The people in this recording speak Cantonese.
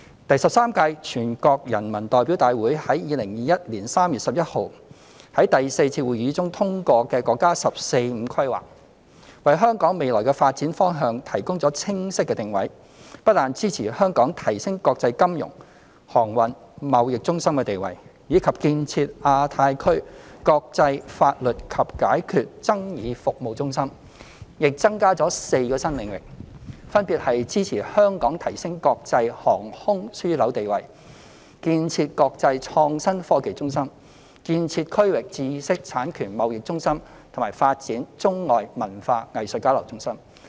第十三屆全國人民代表大會於2021年3月11日在第四次會議中通過的國家"十四五"規劃，為香港未來的發展方向提供清晰的定位，不但支持香港提升國際金融、航運、貿易中心地位，以及建設亞太區國際法律及解決爭議服務中心，亦增加了4個新領域，分別是支持香港提升國際航空樞紐地位、建設國際創新科技中心、建設區域知識產權貿易中心及發展中外文化藝術交流中心。